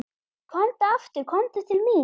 Komdu aftur komdu til mín.